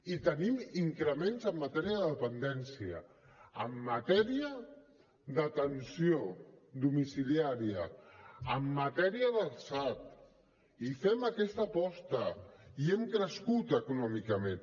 i tenim increments en matèria de dependència en matèria d’atenció domiciliària en matèria del sad i fem aquesta aposta i hem crescut econòmicament